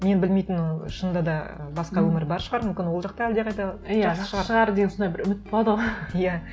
мен білмейтін ол шынында да басқа өмір бар шығар мүмкін ол жақта әлдеқайда жақсы шығар деп сондай үміт болады ғой иә